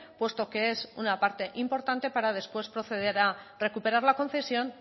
puesto que es una parte importante para después proceder a recuperar la concesión